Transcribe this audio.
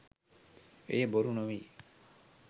එය බොරු නොවෙයි